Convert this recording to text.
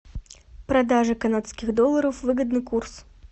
продажа канадских долларов выгодный курс